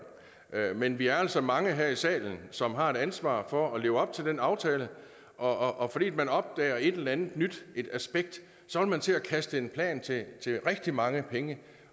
men vi er altså mange her i salen som har ansvar for at leve op til den aftale og og fordi man opdager et eller andet nyt aspekt så vil man til at kaste en plan til til rigtig mange penge